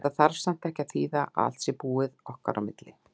Þetta þarf samt ekkert að þýða að allt sé búið á milli okkar.